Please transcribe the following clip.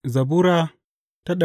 Zabura Sura